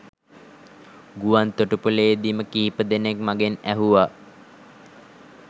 ගුවන්තොටු‍පොළේ දීම කිහිප දෙනෙක් මගෙන් ඇහුවා.